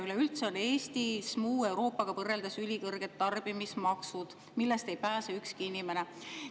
Üleüldse on Eestis muu Euroopaga võrreldes ülikõrged tarbimismaksud, millest ei pääse ükski inimene.